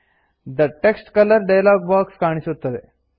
the text colour dialog box ಕಾಣಿಸುತ್ತದೆ